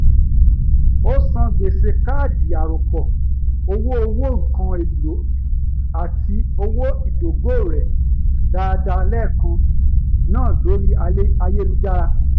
ó san gbèsè káàdì arọ́pọ̀ owó owó nkán èlò àti owó ìdógò rẹ̀ dáadáa lẹ́ẹ̀kan náà lórí ayélujára